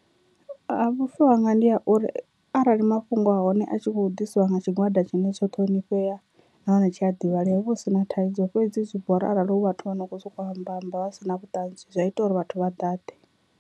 A vhufa hanga ndi a uri arali mafhungo a hone a tshi kho ḓisiwa nga tshigwada tshine tsho ṱhonifhea nahone tshi a ḓivhalea hu vha hu si na thaidzo, fhedzi zwi bora arali hu vhathu vho no kho soko amba amba vha si na vhuṱanzi zwi a ita uri vhathu vha ḓaḓe.